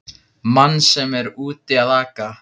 Mann sem er úti að aka!